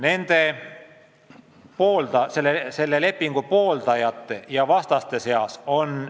Meie liitlasi on nii selle lepingu pooldajate kui ka vastaste seas.